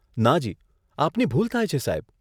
નાજી, આપની ભૂલ થાય છે, સાહેબ.